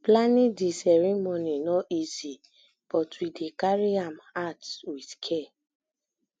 planning di um ceremony um no easy but um we dey carry am carry am out with care